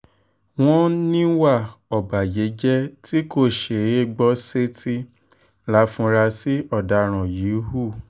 wọ́n níwà ọ̀bàyéjẹ́ tí kò ṣeé gbọ́ sétí láforasí ọ̀daràn yìí hù